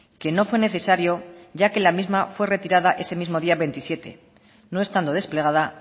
que no fue necesario ya que la misma fue retirada ese mismo día veintisiete no estando desplegada